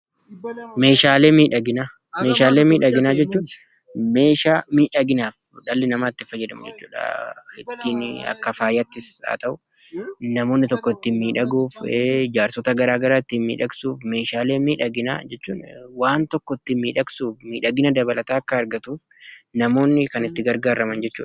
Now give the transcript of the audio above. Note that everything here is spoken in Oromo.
Meeshaalee miidhaginaa. Meeshaalee miidhaginaa jechuun meeshaa miidhaginaaf dhalli namaa itti fayyadamu jechuudha. Ittiin akka faayaattis haa ta'uu namoonni tokko itti miidhaguuf, ijaarsota garaa garaa ittiin miidhagsuuf. Meeshaalee miidhaginaa jechuun waan tokko ittiin miidhagsuuf miidhagina dabalataa akka argatuuf namoonni kan itti gargaaraman jechuudha.